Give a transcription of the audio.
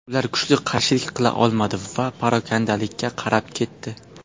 Ular kuchli qarshilik qila olmadi va parokandalikka qarab ketdi.